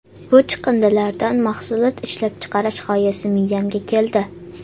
Bu chiqindilardan mahsulot ishlab chiqarish g‘oyasi miyamga keldi.